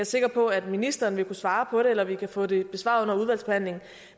sikker på at ministeren vil kunne svare på det eller vil kunne få det besvaret under udvalgsbehandlingen